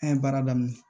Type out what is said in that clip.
An ye baara daminɛ